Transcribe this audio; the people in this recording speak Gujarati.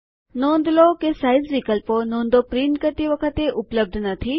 નોંધ લો કે સાઈઝ વિકલ્પો નોંધો પ્રિન્ટ કરતી વખતે ઉપલબ્ધ નથી